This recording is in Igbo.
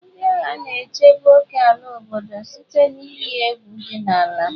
Ndị agha na-echebe ókèala obodo site na iyi egwu dị n'ala.